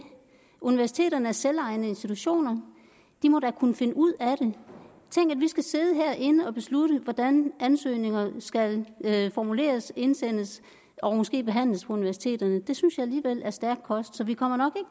universiteterne er selvejende institutioner og de må da kunne finde ud af tænk at vi skal sidde herinde og beslutte hvordan ansøgninger skal formuleres indsendes og måske behandles på universiteterne det synes jeg alligevel er stærk kost så vi kommer nok